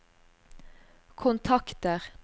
kontakter